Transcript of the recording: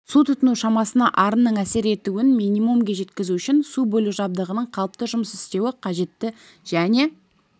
су тұтыну шамасына арынның әсер етуін минимумге жеткізу үшін су бөлу жабдығының қалыпты жұмыс істеуі үшін қажетті және